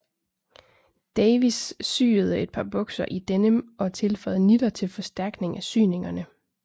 Davis syede et par bukser i denim og tilføjede nitter til forstærkning af syningerne